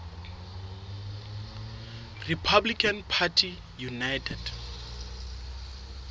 republican party united